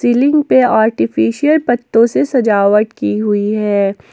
Ceiling पे artificial पत्तों से सजावट की हुई है।